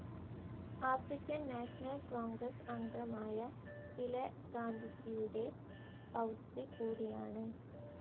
African national congress അംഗമായ ഇള ഗാന്ധിജിയുടെ പൗത്രി കൂടിയാണ്.